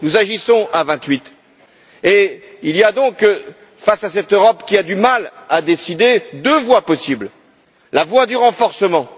Nous agissons à vingt huit et il y a donc, face à cette Europe qui a du mal à décider, une deuxième voie possible la voie du renforcement.